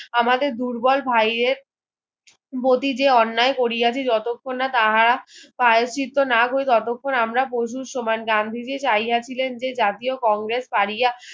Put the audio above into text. আমাদের দুর্বল ভাইয়ের অতীতে অন্যায় করিয়াছি যতক্ষণ না তাহারা প্রায়শ্চিত্ত না করি ততক্ষণ তাহারা পশুর সমান গান্ধীজি চাইয়াছিলেন যে জাতীয় কংগ্রেস করিয়া